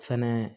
Fɛnɛ